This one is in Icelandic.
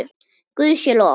Guði sé lof!